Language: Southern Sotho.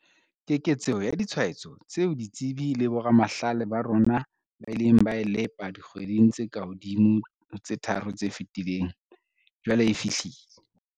Keketseho ya ditshwaetso tseo ditsebi le boramahlale ba rona ba ileng ba e lepa dikgweding tse kahodimo ho tse tharo tse fetileng, jwale e fihlile.